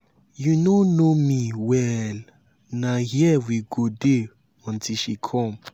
you no know me well na here we go dey until she come.